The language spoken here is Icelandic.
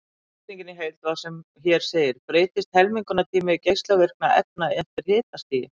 Spurningin í heild var sem hér segir: Breytist helmingunartími geislavirkra efna eftir hitastigi?